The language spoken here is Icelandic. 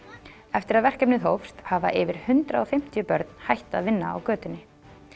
eftir að verkefnið hófst hafa yfir hundrað og fimmtíu börn hætt að vinna á götunni